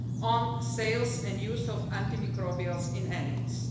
data on the sales and use of antimicrobials in animals.